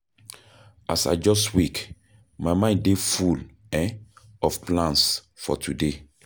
As I just wake, my mind dey full um of plans for today.